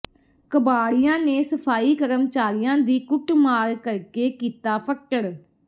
ਕਬਾੜੀਆਂ ਨੇ ਸਫ਼ਾਈ ਕਰਮਚਾਰੀ ਦੀ ਕੁੱਟਮਾਰ ਕਰਕੇ ਕੀਤਾ ਫੱਟੜ